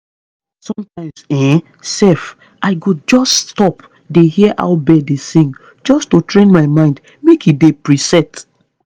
sometimes um sef i go just stop dey hear how bird dey sing just to train my mind make e dey preset